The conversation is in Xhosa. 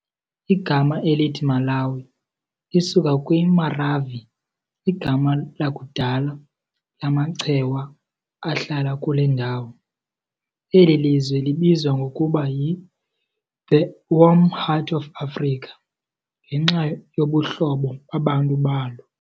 Igama elithi "Malawi" lisuka kwiMaravi, igama lakudala lamaChewa ahlala kule ndawo. Eli lizwe libizwa ngokuba yi "The Warm Heart of Africa" ngenxa yobuhlobo babantu balo.